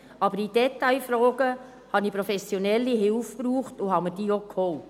Aber in Detailfragen habe ich professionelle Hilfe gebraucht und habe mir diese auch geholt.